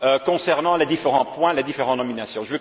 concernant les différents points, les différentes nominations.